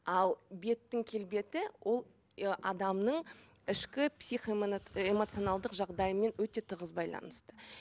ал беттің келбеті ол ы адамның ішкі эмоционалды жағдайымен өте тығыз байланысты